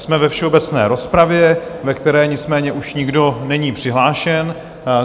Jsme ve všeobecné rozpravě, ve které nicméně už nikdo není přihlášen.